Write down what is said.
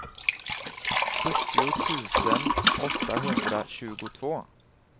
sjuttio tusen åttahundratjugotvå